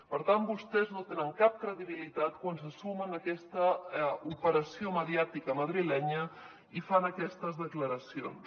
per tant vostès no tenen cap credibilitat quan se sumen a aquesta operació mediàtica madrilenya i fan aquestes declaracions